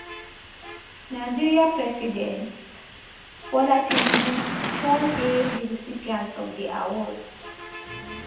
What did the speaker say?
nigeria president bola tinubu don hail di recipients of di awards